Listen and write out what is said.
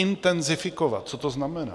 Intenzifikovat - co to znamená?